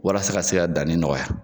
Walasa ka se ka danni nɔgɔya.